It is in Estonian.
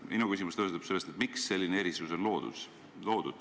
Minu küsimus tuleneb sellest, miks selline erisus on loodud.